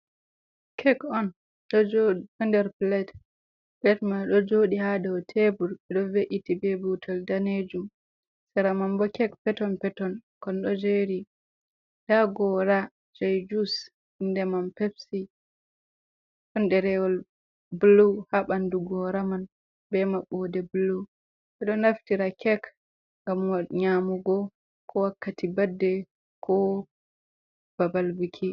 "Kek" on on ɗo jooɗi ɗo nder pilet. Pilet ɗo jooɗi ha dow tebur eɗo ve’iti be butol danejum sera man bo kek peton peton kon ɗo jeri, nda gora juis inde man pepsi ɗon ɗerewol bulu ha ɓandu goraman be mabbode bulu ɓeɗo naftira kek ngam nyamugo, ko wakkati badde ko babal buki.